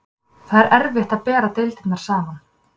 Það er erfitt bera deildirnar saman.